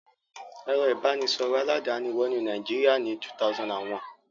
Ẹ̀rọ ìbanisọ̀rọ̀ aládàáni wọnú Nàìjíríà ní 2001.